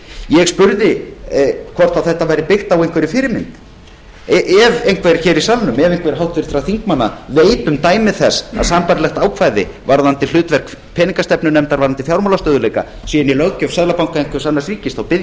ég spurði hvort þetta væri byggt á einhverri fyrirmynd ef einhver háttvirtra þingmanna veit um dæmi þess að sambærilegt ákvæði varðandi hlutverk peningastefnunefndar varðandi fjármálastöðugleika sé í löggjöf seðlabanka einhvers annars ríkis bið